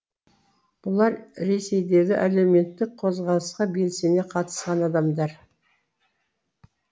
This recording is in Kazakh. бұлар ресейдегі әлеуметтік қозғалысқа белсене қатысқан адамдар